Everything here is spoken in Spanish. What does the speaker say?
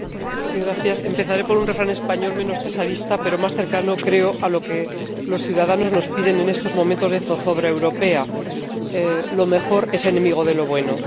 Señora Presidenta, empezaré por un refrán español menos cesarista, pero más cercano, creo, a lo que los ciudadanos nos piden en estos momentos de zozobra europea lo mejor es enemigo de lo bueno.